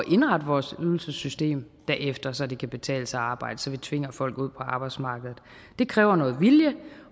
indrette vores ydelsessystem derefter så det kan betale sig at arbejde så vi tvinger folk ud på arbejdsmarkedet det kræver noget vilje